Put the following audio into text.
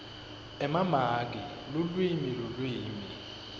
emamaki lulwimi lulwimi